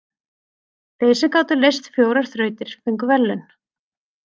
Þeir sem gátu leyst fjórar þrautir fengu verðlaun.